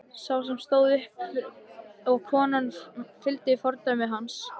Sá sem fór stóð upp og konan fylgdi fordæmi hans.